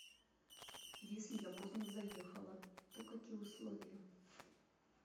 если я поздно заехала то какие условия